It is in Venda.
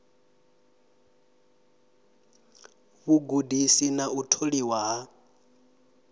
vhugudisi na u tholiwa ha